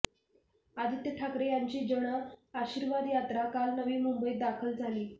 आदित्य ठाकरे यांची जन आशीर्वाद यात्रा काल नवी मुंबईत दाखल झाली